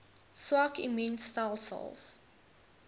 swak immuun stelsels